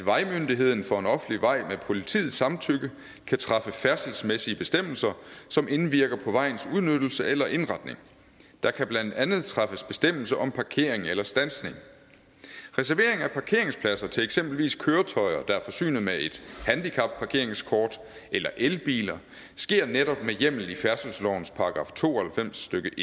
at vejmyndigheden for en offentlig vej med politiets samtykke kan træffe færdselsmæssige bestemmelser som indvirker på vejens udnyttelse eller indretning der kan blandt andet træffes bestemmelser om parkering eller standsning reservering af parkeringspladser til eksempelvis køretøjer der er forsynet med et handicapparkeringskort eller elbiler sker netop med hjemmel i færdselslovens § to og halvfems stykke